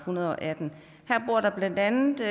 hundrede og atten her bor der blandt andet